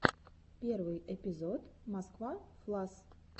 первый эпизод москва флас